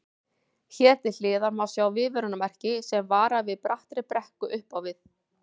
Hér til hliðar má sjá viðvörunarmerki sem varar við brattri brekku upp á við.